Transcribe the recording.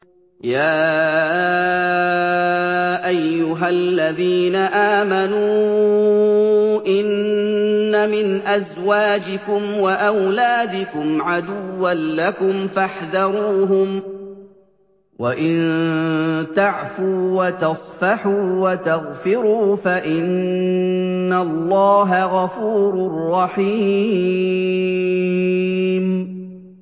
يَا أَيُّهَا الَّذِينَ آمَنُوا إِنَّ مِنْ أَزْوَاجِكُمْ وَأَوْلَادِكُمْ عَدُوًّا لَّكُمْ فَاحْذَرُوهُمْ ۚ وَإِن تَعْفُوا وَتَصْفَحُوا وَتَغْفِرُوا فَإِنَّ اللَّهَ غَفُورٌ رَّحِيمٌ